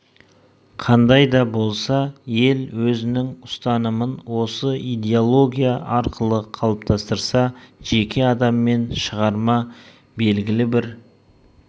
қандай да болса ел өзінің ұстанымын осы идеология арқылы қалыптастырса жеке адам мен шығарма белгілі бір